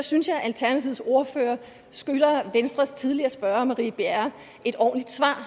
synes jeg at alternativets ordfører skylder venstres tidligere spørger marie bjerre et ordentligt svar